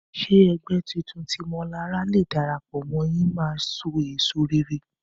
Ṣé ẹgbẹ́ titun tí Mọlará fẹ́ darapọ̀ mọ́ yìí máa so èso rere?